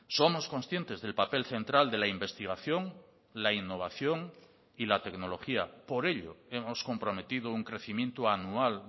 somos conscientes del papel central de la investigación la innovación y la tecnología por ello hemos comprometido un crecimiento anual